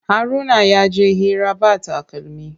Haruna yaje hira ba takalmi.